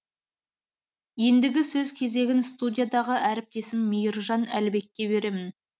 ендігі сөз кезегін студиядағы әріптесім мейіржан әлібекке беремін